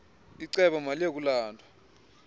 icebo maliye kulandwa